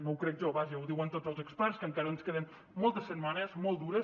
no ho crec jo vaja ho diuen tots els experts que encara ens queden moltes setmanes molt dures